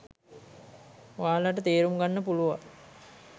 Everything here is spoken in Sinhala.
ඔයාලට තේරුම් ගන්න පුලුවන්